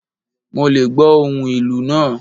Mo lé gbò ohún ìlú naa